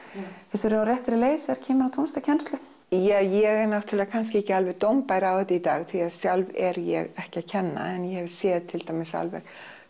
við á réttri leið þegar kemur að tónlistarkennslu jah ég er kannski ekki alveg dómbær á þetta í dag því að sjálf er ég ekki að kenna en ég hef séð til dæmis alveg